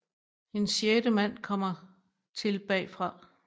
En sjette mand kommer til bagfra